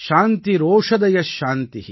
சாந்திரந்தரிக்ஷம் சாந்தி